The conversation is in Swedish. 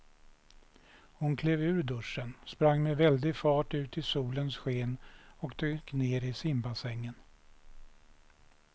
Hon klev ur duschen, sprang med väldig fart ut i solens sken och dök ner i simbassängen.